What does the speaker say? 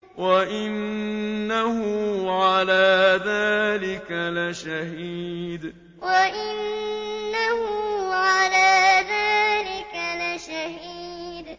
وَإِنَّهُ عَلَىٰ ذَٰلِكَ لَشَهِيدٌ وَإِنَّهُ عَلَىٰ ذَٰلِكَ لَشَهِيدٌ